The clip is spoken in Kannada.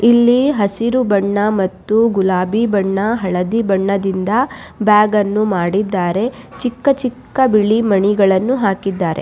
ಇಲ್ಲಿ ಹಸಿರು ಬಣ್ಣಮತ್ತು ಗುಲಾಬಿ ಬಣ್ಣ ಹಳದಿ ಬಣ್ಣದಿಂದ ಬ್ಯಾಗ್ ಅನ್ನು ಮಾಡಿದ್ದಾರೆ ಚಿಕ್ಕ ಚಿಕ್ಕ ಬಿಳಿ ಮಣಿಗಳನ್ನು ಹಾಕಿದ್ದಾರೆ.